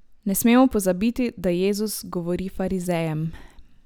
Ne smemo pozabiti, da Jezus govori farizejem.